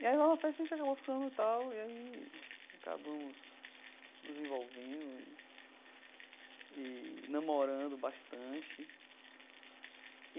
E aí lá na festa a gente acabou ficando e tal, e aí acabamos nos envolvendo e e namorando bastante.